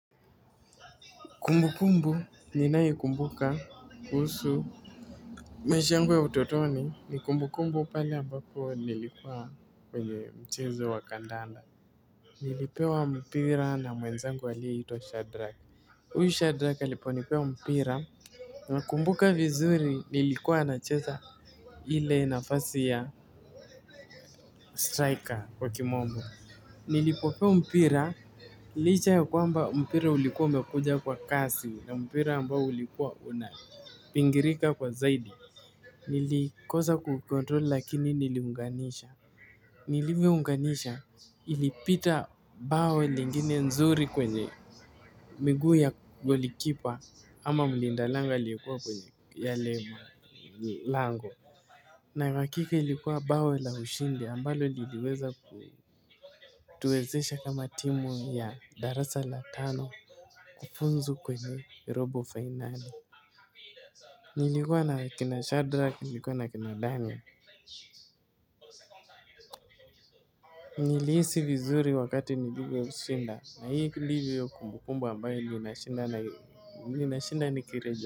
Kumbukumbu ni nai kumbuka kuhusu. Maisha yangu ya utotoni ni kumbukumbu pali ambapo nilikuwa kwenye mchezo wa kandanda. Nilipewa mpira na muenzangu aliye hitwa Shadrack. Uyu Shadrack aliponipea mpira. Nakumbuka vizuri nilikuwa nacheza. Ile nafasi ya striker kwa kimonbo. Nilipopewa mpira. Licha ya kwamba mpira ulikuwa mekuja kwa kasi na mpira ambao ulikuwa una. Pingirika kwa zaidi. Nilikosa kukontrol lakini niliunganisha. Niliviunganisha ilipita bao lingine nzuri kwenye miguu ya golikipa ama mlinda lango aliyekuwa kwenye ya lemo. Lango. Na hakika ilikuwa bao la ushindi ambalo niliweza ku tuwezesha kama timu ya darasa la tano. Kufunzu kwenye robo final. Nilikuwa na kina shadrak nilikuwa na kina dani. Nilisi vizuri wakati nilivyo shinda na hii kulivu ya kumbukumbu ambayo linashinda ni kirejo.